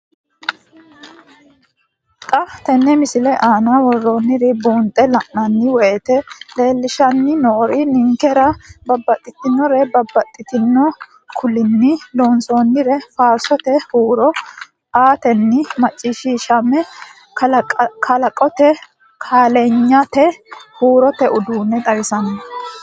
Xa tenne missile aana worroonniri buunxe la'nanni woyiite leellishshanni noori ninkera babbaxitinore babbaxxino kuulinni loonsoonniire faarsote huuro aatenna macciishshamme kalaqate kaa'liyanno huurote uduunne xawissanno.